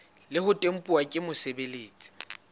le ho tempuwa ke mosebeletsi